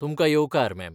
तुमकां येवकार, मॅम.